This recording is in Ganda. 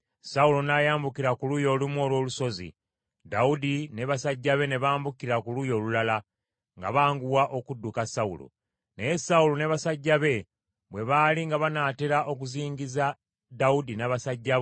Sawulo n’ayambukira ku luuyi olumu olw’olusozi, Dawudi ne basajja be ne bambukira ku luuyi olulala, nga banguwa okudduka Sawulo. Naye Sawulo ne basajja be bwe baali nga banaatera okuzingiza Dawudi n’abasajja be,